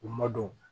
U ma don